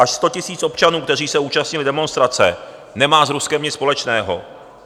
Až 100 000 občanů, kteří se účastnili demonstrace, nemá s Ruskem nic společného.